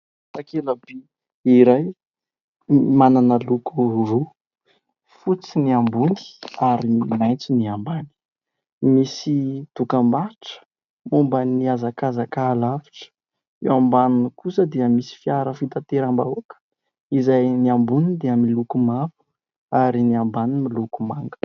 Takelaby iray manana loko roa: fotsy ny ambony ary maitso ny ambany; misy dokam-barotra momban'ny hazakazaka halavitra eo ambaniny kosa dia misy fiara fitateram-bahoaka izay ny amboniny dia miloko mavo ary ny ambany miloko manga.